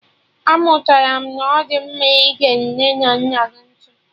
Amụtara m na ọ dị mma ịge nne na nna gị ntị